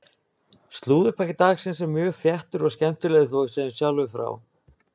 Slúðurpakki dagsins er mjög þéttur og skemmtilegur þó við segjum sjálfir frá!